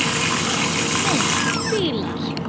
Mynd: Fílar